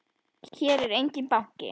Hér er enginn banki!